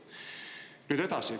Nüüd edasi.